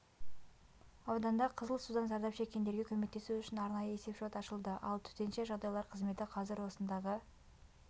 ауданда қызыл судан зардап шеккендерге көмектесу үшін арнайы есепшот ашылды ал төтенше жағдайлар қызметі қазір осындағы